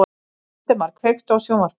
Valdemar, kveiktu á sjónvarpinu.